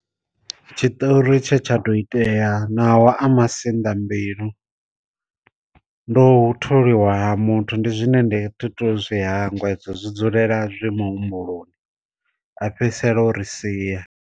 Tshiṱori tshe tsha ḓo itea ṋawa a masinḓa mbilu, ndo u tholiwa muthu ndi zwine ndi thithu zwi hangwa hedzo zwi dzulela zwi muhumbuloni a fhedzisela o ri sia.